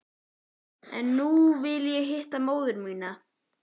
En nú vil ég hitta móður mína.